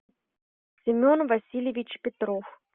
семен васильевич петров